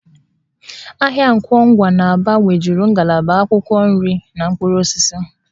Ahịa Nkwọ Ngwa n'Aba nwejuru ngalaba akwụkwọ nri na mkpụrụ osisi